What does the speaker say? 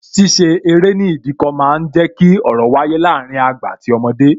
Ṣíṣe eré ní Ìdíkọ̀ máa ń jẹ ki ọ̀rọ̀ wáyé láàárín àgbà àti ọmọdé